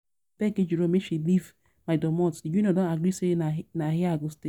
I um don beg Ejiro make she leave my um domot, the union don agree say na here I go dey stay